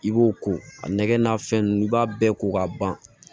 I b'o ko a nɛgɛn n'a fɛn nunnu n'i b'a bɛɛ ko k'a ban